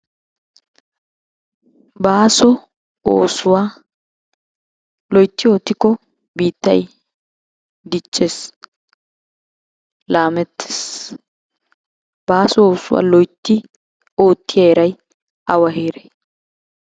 Baaso oosuwa loytti oottiko biittay diccees, laamettes. Baaso oosuwaa loytti oottiya heeray awa heeray?